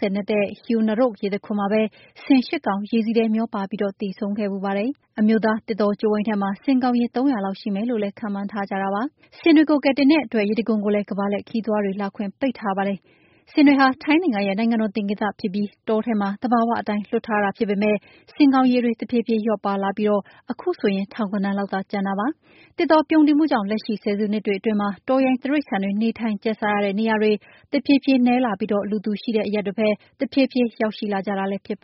၀ နက်တဲ့ Haew Narok ရေတံခွန်မှာပဲ ဆင် ၈ ကောင် ရေစီးထဲမျောပါပြီး သေဆုံးခဲ့ဘူးပါတယ်။ အမျိုးသာ သစ်တောကြိုးဝိုင်းထဲမှာ ဆင်ကောင်ရေး သုံးရာလောက် ရှိမယ်လို့ ခန့်မှန်းထားကြပါတယ်။ ဆင်တွေကို ကယ်တင်နေတဲ့အတွက် ရေတံခွန်ကိုလည်း ကမ္ဘာလှည့်ခရီးသွားတွေ လာခွင့် ပိတ်ထားပါတယ်။ ဆင်တွေဟာ ထိုင်းနိုင်ငံရဲ့ နိုင်ငံတော် သင်္ကေတဖြစ်ပြီး တောထဲမှာ သဘာဝအတိုင်း လွတ်ထားတာဖြစ်ပေမယ့် ဆင်ကောင်ရေတွေ တဖြည်းဖြည်း လျော့ပါးလာပြီး ခုဆိုရင် ထောင်ဂဏန်းလောက်သာ ကျန်ပါတယ်။ သစ်တောပြုန်းတီးမှုကြောင့် လက်ရှိဆယ်စုနှစ်တွေမှာ တောရိုင်းတိရိစ္ဆာန်တွေ နေထိုင်ကျက်စားရတဲ့ နေရာတွေ တဖြည်းဖြည်း နည်းလာပြီး လူသူရှိတဲ့အရပ်တွေဘက် တဖြည်းဖြည်း ရောက်လာကြတာလည်း ဖြစ်ပါ